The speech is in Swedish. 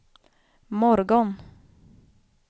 morgon